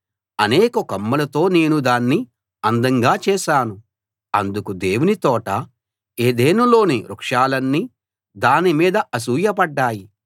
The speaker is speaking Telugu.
అనేక కొమ్మలతో నేను దాన్ని అందంగా చేశాను అందుకు దేవుని తోట ఏదెనులోని వృక్షాలన్నీ దాని మీద అసూయపడ్డాయి